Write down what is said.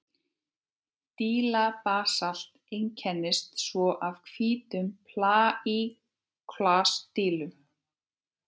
Dílabasalt einkennist svo af hvítum plagíóklas-dílum.